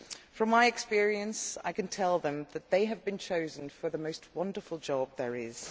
From my experience, I can tell them that they have been chosen for the most wonderful job there is.